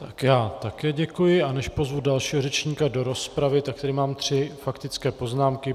Tak já také děkuji, a než pozvu dalšího řečníka do rozpravy, tak tady mám tři faktické poznámky.